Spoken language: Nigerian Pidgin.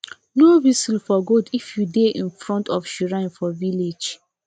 no whistle for goat if you dey in front of shrine for village